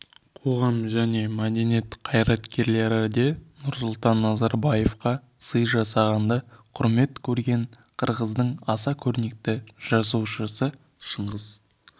қоғам және мәдениет қайраткерлері де нұрсұлтан назарбаевқа сый жасағанды құрмет көрген қырғыздың аса көрнекті жазушысы шыңғыс